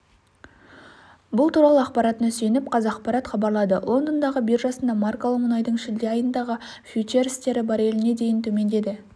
бұл туралы ақпаратына сүйеніп қазақпарат хабарлады лондондағы биржасында маркалы мұнайдың шілде айындағы фьючерстері барреліне дейін төмендеді